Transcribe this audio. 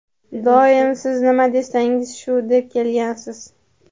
Doim "siz nima desangiz shu" deb kelgansiz.